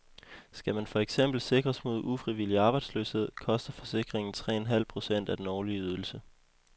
Skal man for eksempel sikres mod ufrivillig arbejdsløshed, koster forsikringen tre en halv procent af den årlige ydelse.